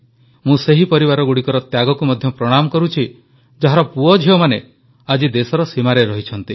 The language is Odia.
ମୁଁ ସେହି ପରିବାରଗୁଡ଼ିକର ତ୍ୟାଗକୁ ମଧ୍ୟ ପ୍ରଣାମ କରୁଛି ଯାହାର ପୁଅଝିଅମାନେ ଆଜି ଦେଶର ସୀମାରେ ରହିଛନ୍ତି